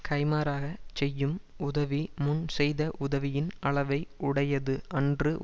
கைமாறாகச் செய்யும் உதவி முன் செய்த உதவியின் அளவை உடையது அன்று